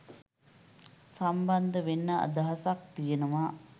සම්බන්ධ වෙන්න අදහසක් තියෙනවා